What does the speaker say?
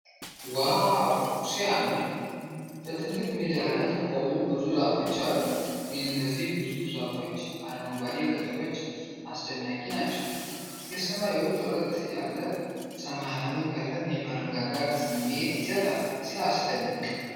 ዋው ሲያምር! በትልቅ ሜዳ ላይ የቆሙ ብዙ ዛፎች አሉ። የእነዚህ ግዙፍ ዛፎች አረንጓዴ ቅጠሎች አስደናቂ ናቸው። የሰማዩ ጥርት ያለ ሰማያዊ ቀለም የመረጋጋት ስሜት ይሰጣል። ሲያስደንቅ!